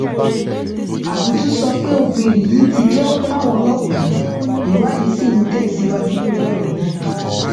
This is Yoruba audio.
ábùtù sọ pé obìnrin yìí ti jẹwọ fáwọn ọlọpàá ìwádìí ṣì ń tẹsíwájú lórí ọrọ náà